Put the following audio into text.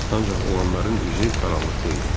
Ancaq oğlanların üzü qaranlıqda idi.